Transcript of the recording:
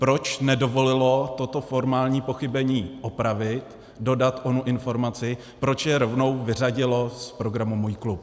Proč nedovolilo toto formální pochybení opravit, dodat onu informaci, proč je rovnou vyřadilo z programu Můj klub?